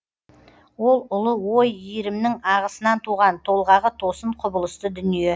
ол ұлы ой иірімнің ағысынан туған толғағы тосын құбылысты дүние